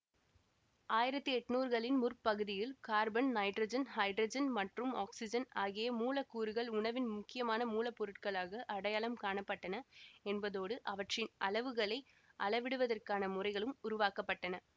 ஆயிரத்தி எட்ணூறுகளின் முற்பகுதியில் கார்பன் நைட்ரஜன் ஹைட்ரஜன் மற்றும் ஆக்ஸிஜன் ஆகிய மூலக்கூறுகள் உணவின் முக்கியமான மூலப்பொருட்களாக அடையாளம் காண பட்டன என்பதோடு அவற்றின் அளவுகளை அளவிடுவதற்கான முறைகளும் உருவாக்க பட்டன